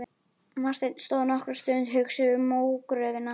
Marteinn stóð nokkra stund hugsi við mógröfina.